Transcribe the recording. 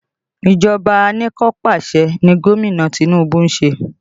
Ìjọba anikanpasẹ̀ ni Gomina Tinubu ṣe